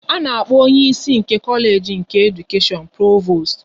A na-akpọ onye ịsị Kolage nke Edukashion Provost